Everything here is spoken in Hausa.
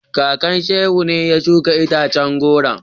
Kakan Shehu ne ya shuka itacen goron.